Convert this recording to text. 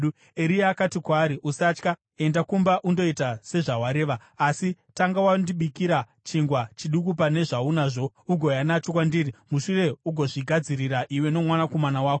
Eria akati kwaari, “Usatya. Enda kumba undoita sezvawareva. Asi tanga wandibikira chingwa chiduku pane zvaunazvo ugouya nacho kwandiri, mushure ugozvigadzirira iwe nomwanakomana wako.